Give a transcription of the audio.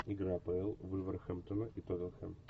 игра апл вулверхэмптона и тоттенхэм